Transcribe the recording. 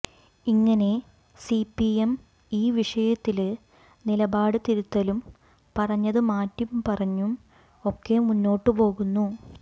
ഇങ്ങനെ സിപിഎം ഈ വിഷയത്തില് നിലപാട് തിരുത്തലും പറഞ്ഞത് മാറ്റിപറഞ്ഞും ഒക്കെ മുന്നോട്ട് പോകുന്നു